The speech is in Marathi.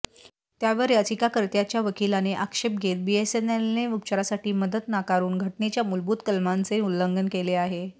त्यावर याचिकाकर्त्याच्या वकिलाने आक्षेप घेत बीएसएनएलने उपचारासाठी मदत नाकारूनघटनेच्या मूलभूत कलमांचे उल्लंघन केले आहे